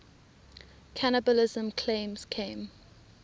cannibalism claims came